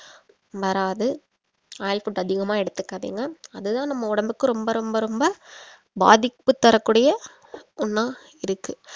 வராது oil food அதிகமா எடுத்துக்காதீங்க அதுதான் நம்ம உடம்புக்கு ரொம்ப ரொம்ப ரொம்ப பாதிப்பு தரக்கூடிய ஒண்ணா இருக்கு